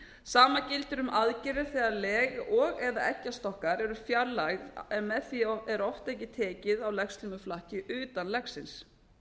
sama gildir um aðgerðir þegar leg og eða eggjastokkar eru fjarlægð með því er oft ekki tekið á legslímuflakki utan legsins